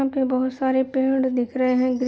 यहाँ पे बहोत सारे पेड़ दिख रहे है ग्रीन --